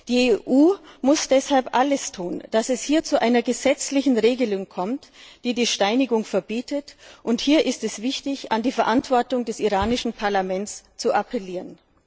Die EU muss deshalb alles tun, damit es hier zu einer gesetzlichen Regelung kommt, die die Steinigung verbietet, und hier ist es wichtig, an die Verantwortung des iranischen Parlaments zu appellieren.